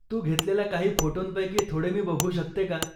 तू घेतलेल्या काही फोटोंपैकी थोडे मी बघू शकते का?